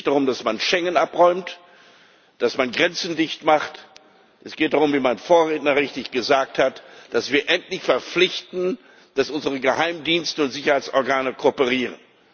Es geht jetzt nicht darum, dass man Schengen abräumt, dass man Grenzen dichtmacht, es geht darum wie mein Vorredner richtig gesagt hat dass wir endlich dazu verpflichten, dass unsere Geheimdienste und Sicherheitsorgane kooperieren.